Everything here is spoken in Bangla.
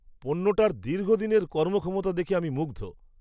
পণ্যটার দীর্ঘদিনের কর্মক্ষমতা দেখে আমি মুগ্ধ!